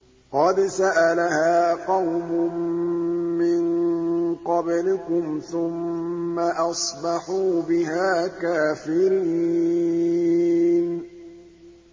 قَدْ سَأَلَهَا قَوْمٌ مِّن قَبْلِكُمْ ثُمَّ أَصْبَحُوا بِهَا كَافِرِينَ